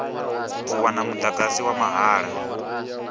u wana mudagasi wa mahala